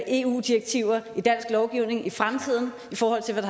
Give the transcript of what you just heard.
eu direktiver i dansk lovgivning i fremtiden i forhold til hvad